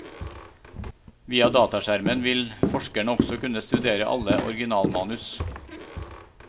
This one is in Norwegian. Via dataskjermen vil forskerne også kunne studere alle originalmanus.